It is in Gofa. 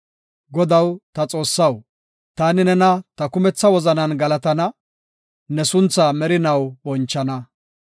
Godaw ta Xoossaw, taani nena ta kumetha wozanan galatana; ne sunthaa merinaw bonchana.